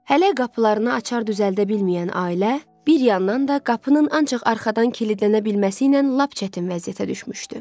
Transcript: Hələ qapılarını açar düzəldə bilməyən ailə bir yandan da qapının ancaq arxadan kilidlənə bilməsi ilə lap çətin vəziyyətə düşmüşdü.